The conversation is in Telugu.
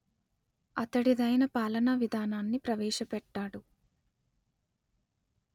అతడిదైన పాలనా విధానాన్ని ప్రవేశపెట్టాడు